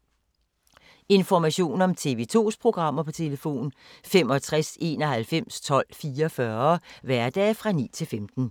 Information om TV 2's programmer: 65 91 12 44, hverdage 9-15.